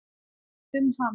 um hann.